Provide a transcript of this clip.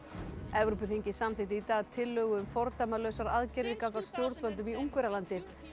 Evrópuþingið samþykkti í dag tillögu um fordæmalausar aðgerðir gagnvart stjórnvöldum í Ungverjalandi